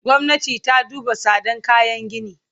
Gwamnati ta duba tsadan kayan gini!